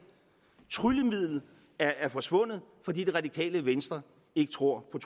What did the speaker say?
tryllemidlet er forsvundet fordi det radikale venstre ikke tror på